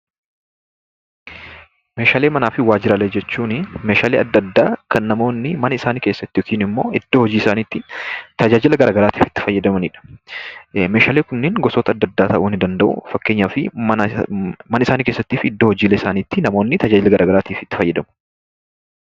Meeshaalee manaa fi waajjiraalee jechuunii meeshaalee addaa addaa kan namoonni mana isaanii keessatti yookiin immoo iddoo hojii isaaniitti tajaajila garaa garaatiif kan fayyadamaniidha. Meeshaaleen kunneen gosoota addaa addaa ta'uu ni danda'u. Fakkeenyaaf mana isaanii keessatti fi iddoo hojii isaaniitti itti fayyadamu.